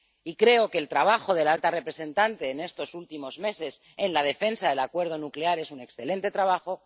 Y creo que el trabajo de la alta representante en estos últimos meses en la defensa del acuerdo nuclear es un excelente trabajo.